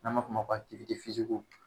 N m'a fɔ o ma ko